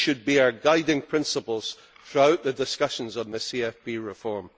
These should be our guiding principles throughout the discussions on the CFP reform.